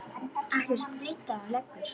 Ekkert stríddi á hann lengur.